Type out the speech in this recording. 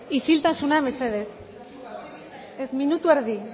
isiltasuna mesedez ez minutu erdi